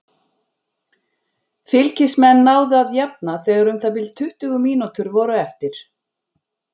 Fylkismenn náðu að jafna þegar um það bil tuttugu mínútur voru eftir.